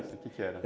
O que que era?